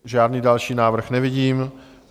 Žádný další návrh nevidím.